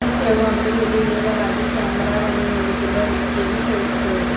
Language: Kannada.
ಚಿತ್ರವು ಅಂಗಡಿಯಲ್ಲಿ ನೇರವಾಗಿ ಕ್ಯಾಮರ ವನ್ನು ನೋಡುತ್ತಿರುವ ವ್ಯಕ್ತಿಯನ್ನು ತೋರಿಸುತ್ತದೆ.